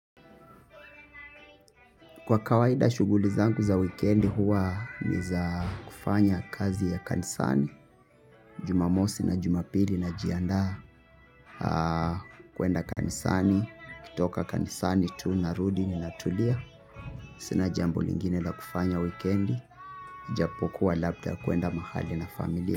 Kwa kawaida shughuli zangu za wikendi huwa ni za kufanya kazi ya kanisani, jumamosi na jumapili najiandaa kuenda kanisani, kutoka kanisani tu narudi natulia. Sina jambo lingine na kufanya wikendi, ijapokuwa labda kuenda mahali na familia.